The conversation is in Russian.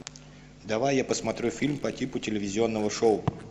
давай я посмотрю фильм по типу телевизионного шоу